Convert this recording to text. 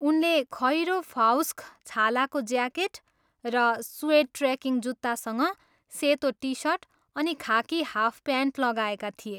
उनले खैरो फाउक्स छालाको ज्याकेट र सुएड ट्रेकिङ जुत्तासँग सेतो टी सर्ट अनि खाकी हाफ प्यान्ट लगाएका थिए।